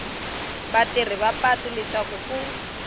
vatirhisi va patu leswaku ku